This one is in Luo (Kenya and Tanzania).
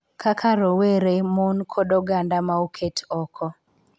Kaka rowere, mon, kod oganda ma oket oko,